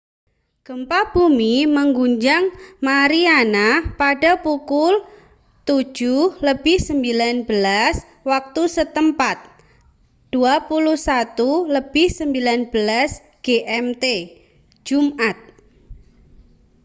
gempa bumi mengguncang mariana pada pukul 07.19 waktu setempat 21.19 gmt jumat